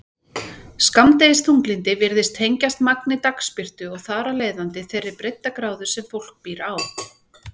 Skammdegisþunglyndi virðist tengjast magni dagsbirtu og þar af leiðandi þeirri breiddargráðu sem fólk býr á.